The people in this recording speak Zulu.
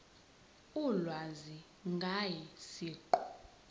ulwazi ngaye siqu